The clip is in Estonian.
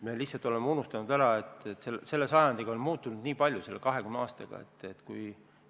Me lihtsalt oleme ära unustanud, et sellel sajandil, selle 20 aastaga on niivõrd palju muutunud.